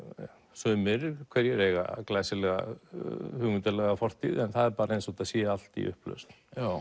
sumir hverjir eiga glæsilega hugmyndalega fortíð en það er bara eins og það sé allt í upplausn